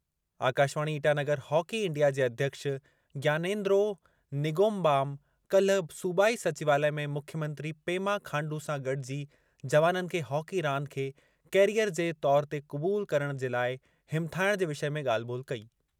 Akashvani Itanagar hockey India जे अध्यक्ष ज्ञानेंद्रो निंगोम्बाम काल्हि सूबाई सचिवालय में मुख्यमंत्री पेमा खांडू सां गॾिजी, जवाननि खे हॉकी रांदि खे कैरियर जे तौरु ते क़बूल करणु जे लाइ हिमथाइणु जे विषय में ॻाल्हि ॿोल्हि कई।